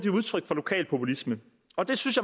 er udtryk for lokal populisme og det synes